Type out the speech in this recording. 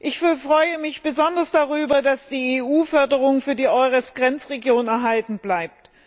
Ich freue mich besonders darüber, dass die EU Förderung für die EURES Grenzregionen erhalten bleibt.